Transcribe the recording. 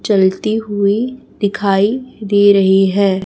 चलती हुई दिखाई दे रही है।